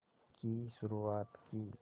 की शुरुआत की